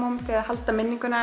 halda minningunni